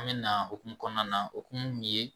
An bɛ na okumu kɔnɔna na okumu mun ye